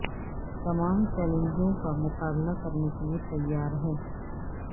تمام چیلنجوں کا مقابلہ کرنے کے لئے تیار ہے